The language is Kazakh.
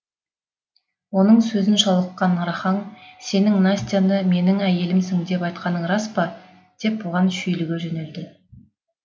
оның сөзін шала ұққан рахаң сенің настяны менің әйелімсің деп айтқаның рас па деп бұған шүйліге жөнелді